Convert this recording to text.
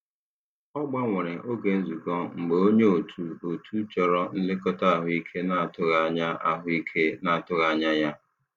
Ọ gbanwere oge nzukọ mgbe onye otu otu chọrọ nlekọta ahụike na-atụghị anya ahụike na-atụghị anya ya.